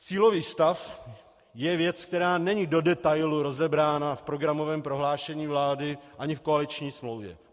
Cílový stav je věc, která není do detailu rozebrána v programovém prohlášení vlády ani v koaliční smlouvě.